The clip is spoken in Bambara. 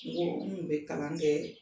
Nko n tun bɛ kalan kɛ